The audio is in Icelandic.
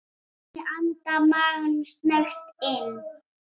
Ég anda maganum snöggt inn.